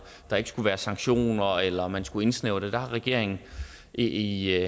der ikke skulle være sanktioner eller at man skulle indsnævre det der har regeringen i i